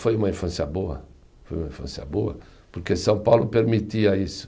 Foi uma infância boa, foi uma infância boa, porque São Paulo permitia isso.